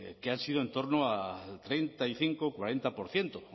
que han sido en torno a treinta y cinco cuarenta por ciento